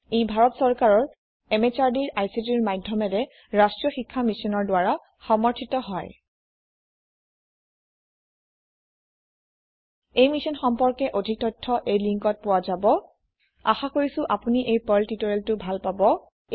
ই ভাৰত সৰকাৰৰ MHRDৰ ICTৰ মাধ্যমেৰে ৰাষ্ট্ৰীয় শীক্ষা Missionৰ দ্ৱাৰা সমৰ্থিত হয় এই মিছন সম্পৰ্কে অধিক তথ্য এই linkত পোৱা যাব spoken hyphen tutorial dot org slash এনএমইআইচিত হাইফেন ইন্ট্ৰ আশা কৰিছো আপুনি এই পাৰ্ল টিওটৰিয়েলটো ভাল পাব